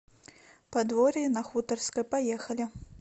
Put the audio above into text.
подворье на хуторской поехали